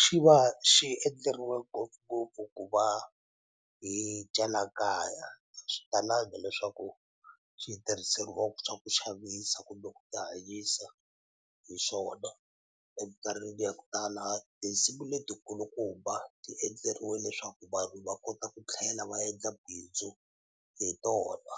xi va xi endleriwe ngopfungopfu ku va hi dya la kaya swi talangi leswaku xi tirhiseriwa swa ku xavisa kumbe ku ti hanyisa hi xona emikarhini ya ku tala tinsimu letikulukumba ti endleriwe leswaku vanhu va kota ku tlhela va yendla bindzu hi tona.